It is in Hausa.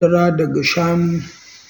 Shan madara daga shanu